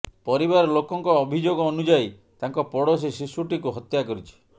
ପରିବାର ଲୋକଙ୍କ ଅଭିଯୋଗ ଅନୁଯାୟୀ ତାଙ୍କ ପଡୋଶୀ ଶିଶୁଟିକୁ ହତ୍ୟା କରିଛି